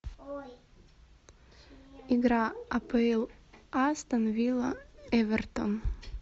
игра апл астон вилла эвертон